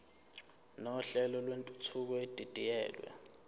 nohlelo lwentuthuko edidiyelwe